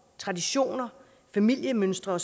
traditioner familiemønstre